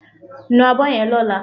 Nu abọ́ yen lọ́lá